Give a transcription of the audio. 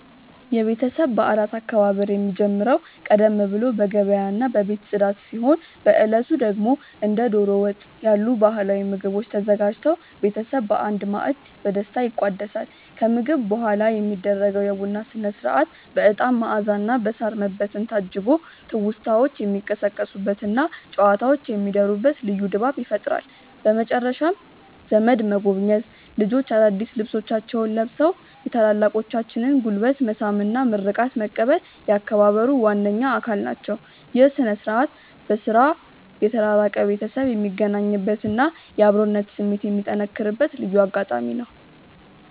የቤተሰብ በዓላት አከባበር የሚጀምረው ቀደም ብሎ በገበያና በቤት ጽዳት ሲሆን፣ በዕለቱ ደግሞ እንደ ደሮ ወጥ ያሉ ባህላዊ ምግቦች ተዘጋጅተው ቤተሰብ በአንድ ማዕድ በደስታ ይቋደሳል። ከምግብ በኋላ የሚደረገው የቡና ሥነ-ሥርዓት በዕጣን መዓዛና በሳር መበተን ታጅቦ ትውስታዎች የሚቀሰቀሱበትና ጨዋታዎች የሚደሩበት ልዩ ድባብ ይፈጥራል። በመጨረሻም ዘመድ መጎብኘት፣ ልጆች አዳዲስ ልብሶቻቸውን ለብሰው የታላላቆችን ጉልበት መሳም እና ምርቃት መቀበል የአከባበሩ ዋነኛ አካል ናቸው። ይህ ሥነ-ሥርዓት በሥራ የተራራቀ ቤተሰብ የሚገናኝበትና የአብሮነት ስሜት የሚጠነክርበት ልዩ አጋጣሚ ነው።